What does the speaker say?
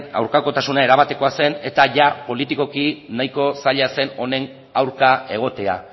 aurkakotasuna erabatekoa zen eta jada politikoki nahiko zaila zen honen aurka egotea